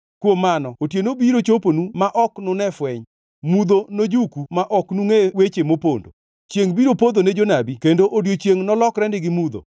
Kuom mano otieno biro choponu ma ok nune fweny, mudho nojuku ma ok nungʼe weche mopondo. Chiengʼ biro podho ne jonabi kendo odiechiengʼ nolokrenegi mudho.